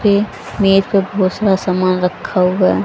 पे मेज पे समान रखा हुआ है।